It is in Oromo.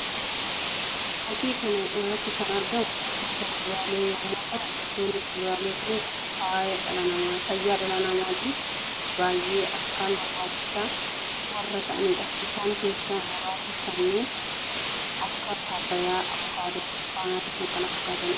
Fakkii kana irratti kan argamu gosoota kuduraalee yammuu ta'u; gosoonni kuduraalee kunis fayyaa dhala namaatiif baayyee akkaan barbaachisoo warra ta'aniidha. Isaan keessaa muraasa kanneen akka Paappayyaa, Avukaadoo, burtukaanii fi kan kan fakkaataniidha.